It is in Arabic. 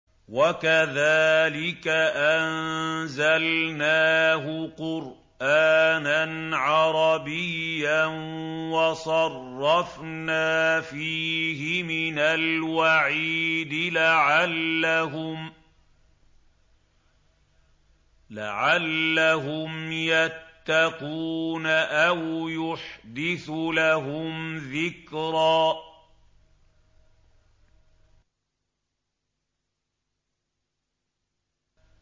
وَكَذَٰلِكَ أَنزَلْنَاهُ قُرْآنًا عَرَبِيًّا وَصَرَّفْنَا فِيهِ مِنَ الْوَعِيدِ لَعَلَّهُمْ يَتَّقُونَ أَوْ يُحْدِثُ لَهُمْ ذِكْرًا